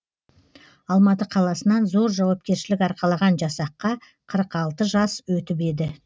алматы қаласынан зор жауапкершілік арқалаған жасаққа қырық алты жас өтіп еді